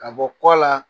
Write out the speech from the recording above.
Ka bɔ kɔ la